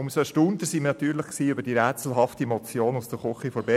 Umso erstaunter waren wir über diese rätselhafte Motion aus der Küche der BDP.